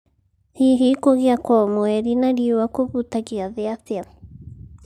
Hihi kũgĩa kwa mweri na riũa kũhutagia thĩ atĩa?